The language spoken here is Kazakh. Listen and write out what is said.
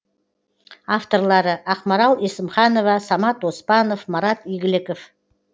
авторлары ақмарал есімханова самат оспанов марат игіліков